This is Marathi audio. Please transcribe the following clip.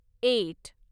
एट